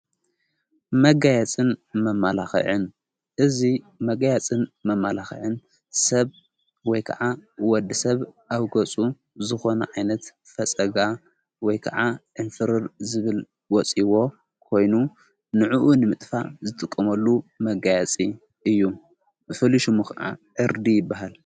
መጋየጽን መማላኽዕን እዙ መጋያጽን መማላኽዕን ሰብ ወይ ከዓ ወዲ ሰብ ኣብገፁ ዝኾነ ዓይነት ፈጸጋ ወይ ከዓ እምፍርር ዝብል ወፂይዎ ኮይኑ ንእኡ ንምጥፋ ዝጥቁመሉ መጋያፂ እዩ ፍልሹሙ ኸዓ ዕርዲ ይበሃል::